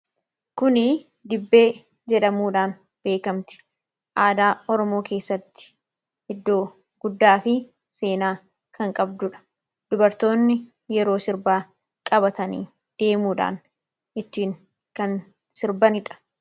kuni dibbee jedhamuudhaan beekamti aadaa oromoo keessatti iddoo guddaa fi seenaa kan qabduudha dubartoonni yeroo sirbaa qabatanii deemuudhaan ittiin kan sirbanidha